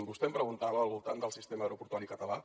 vostè em preguntava al voltant del sistema aeroportuari català